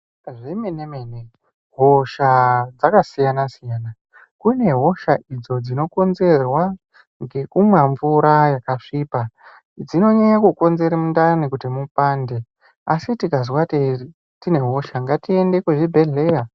Zvemene -mene hosha dzakasiyana-siyana kune hosha idzo dzinokonzerwa ngekumwa mvura yakasvipa. Dzinonyanye kukonzere mundani kuti mupande asi tikazwa tinehosha ngatiende kuzvibhedhlera.